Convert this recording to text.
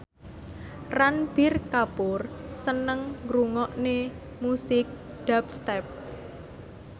Ranbir Kapoor seneng ngrungokne musik dubstep